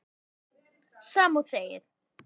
Veistu, sama og þegið.